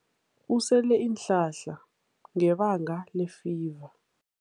Usele iinhlahla ngebanga lefiva.